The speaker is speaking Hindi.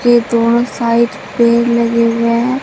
यह दोनों साइड पेड़ लगे हुए हैं।